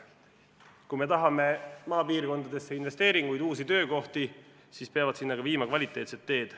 Kui me tahame maapiirkondadesse investeeringuid, uusi töökohti, siis peavad sinna viima ka kvaliteetsed teed.